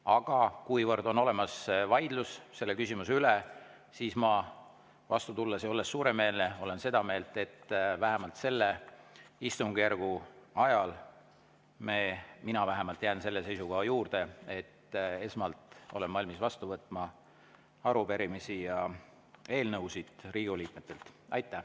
Aga kuivõrd on olemas vaidlus selle küsimuse üle, siis tulen vastu ja olen suuremeelne ning vähemalt selle istungjärgu ajal – mina vähemasti jään selle seisukoha juurde – olen esmalt valmis vastu võtma arupärimisi ja eelnõusid Riigikogu liikmetelt.